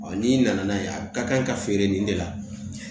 n'i nana n'a ye a ka kan ka feere nin de la